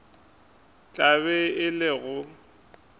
tla be e le go